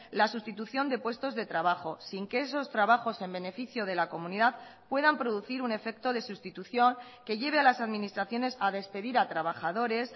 la sustitución de puestos de trabajo sin que esos trabajos en beneficio de la comunidad puedan producir un efecto de sustitución que lleve a las administraciones a despedir a trabajadores